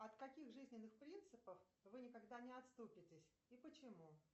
от каких жизненных принципов вы никогда не отступитесь и почему